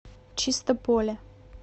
чистополе